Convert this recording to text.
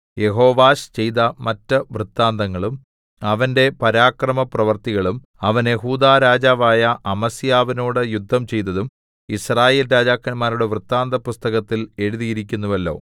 യെഹോവാശ് ചെയ്ത മറ്റ് വൃത്താന്തങ്ങളും അവന്റെ പരാക്രമപ്രവൃത്തികളും അവൻ യെഹൂദാ രാജാവായ അമസ്യാവിനോട് യുദ്ധം ചെയ്തതും യിസ്രായേൽ രാജാക്കന്മാരുടെ വൃത്താന്തപുസ്തകത്തിൽ എഴുതിയിരിക്കുന്നുവല്ലോ